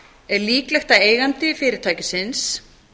er líklegt að eigandi fyrirtækisins